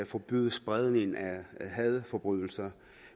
forbyde spredning af hadforbrydelser